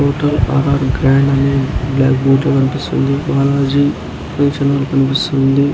Hotel R R grand అని black board లో కనిపిస్సుంది. బాలాజీ ఫర్నిచర్ అని కనిపిస్సుంది.